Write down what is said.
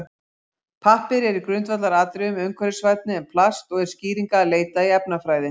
Pappír er í grundvallaratriðum umhverfisvænni en plast og er skýringanna að leita í efnafræði.